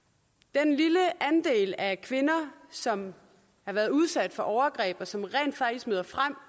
den lille andel af kvinder som har været udsat for overgreb og som rent faktisk møder frem